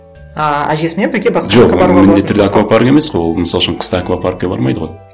а әжесімен бірге басқа міндетті түрде аквапарк емес қой ол мысал үшін қыста аквапаркке бармайды ғой